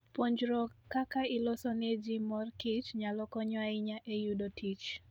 Puonjruok kaka iloso ne ji mor kich nyalo konyo ahinya e yudo tich.